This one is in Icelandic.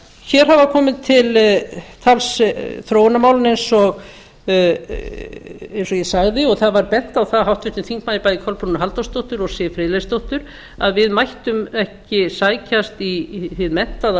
hér hafa komið til tals þróunarmálin eins og ég sagði og það var bent á það af háttvirtum þingmanni bæði kolbrúnu halldórsdóttur og siv friðleifsdóttur að við mættum ekki sækjast í hið menntaða